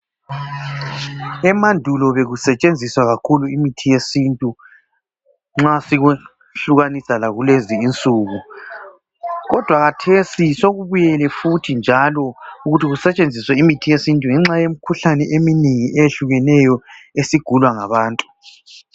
Emandulo bekusetshenziswa kakhulu imithi yesintu nxa sikwehlukanisa lakulezi insuku kodwa khathesi sokubuyele futhi njalo ukuthi ukusetshenziswe imithi yesintu ngenxa yemikhuhlane eminengi eyehlukeneyo esigulwa ngabantu.